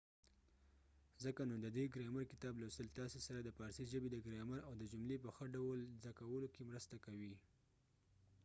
ځکه نو ددې ګرامر کتاب لوستل تاسې سره د فارسي ژبې د ګرامر او د جملو په ښه ډول زده کولو کې مرسته کوي